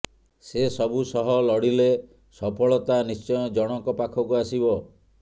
ସେ ସବୁ ସହ ଲଢ଼ିଲେ ସଫଳତା ନିଶ୍ଚୟ ଜଣକ ପାଖକୁ ଆସିବ